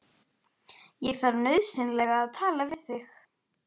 Ég þarf nauðsynlega að tala við þig.